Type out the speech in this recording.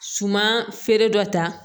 Suman feere dɔ ta